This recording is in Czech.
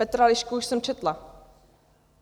Petra Lišku už jsem četla.